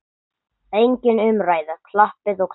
Engin umræða, klappað og klárt.